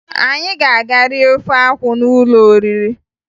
Anyị ga-aga rie ofe akwụ n'ụlọ oriri